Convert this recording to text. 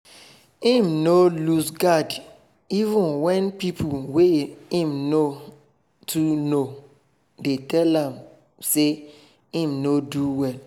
im nor lose guard even wen pipo wey im not too know dey tell am say im nor do well